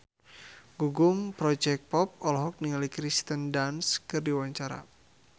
Gugum Project Pop olohok ningali Kirsten Dunst keur diwawancara